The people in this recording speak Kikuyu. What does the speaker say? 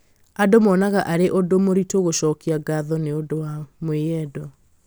andũ monaga arĩ ũndũ mũritũ gũcokia ngatho nĩ ũndũ wa mwĩyendo